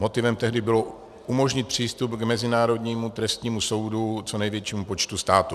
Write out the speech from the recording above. Motivem tehdy bylo umožnit přístup k Mezinárodnímu trestnímu soudu co největšímu počtu států.